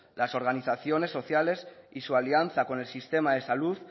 las organizaciones sociales y su alianza con el sistema de salud